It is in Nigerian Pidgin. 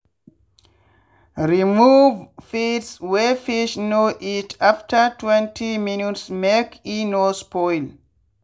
remove feeds wey fish no eat after twenty minutes make e no spoil